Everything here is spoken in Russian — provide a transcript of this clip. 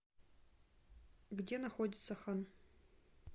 где находится хан